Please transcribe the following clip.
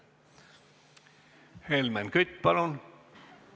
Helmen Kütt, palun!